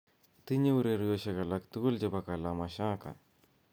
otinye ureryosyek alaktugul chebo kalamashaka